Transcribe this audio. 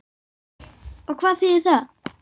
Og hvað þýðir það?